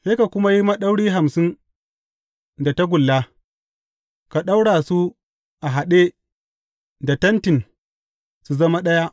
Sai ka kuma yi maɗauri hamsin da tagulla, ka ɗaura su a haɗe da tentin su zama ɗaya.